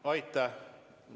Aitäh!